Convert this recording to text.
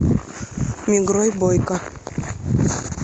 мигрой бойко